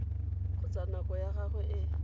kgotsa nako ya gagwe e